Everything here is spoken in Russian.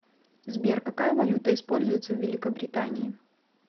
сбер какая валюта используется в великобритании